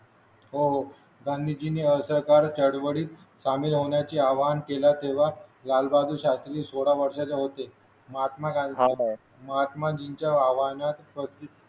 हो हो गांधीजींनी असहकार चळवळीत सामील होण्याचे आवाहन केला तेव्हा लालबहादूर शास्त्री सोळा वर्षाचे होते महात्मा गांधी महात्माजींच्या आव्हानात प्रती